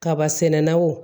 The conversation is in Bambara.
Kaba sɛnɛn naw